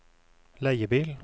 leiebil